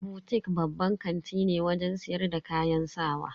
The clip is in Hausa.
Butik babban kanti ne wajen siyar da kayan sawa.